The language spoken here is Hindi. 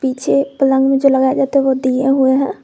पीछे पलंग में जो लगाया जाता है वो दिया हुआ है।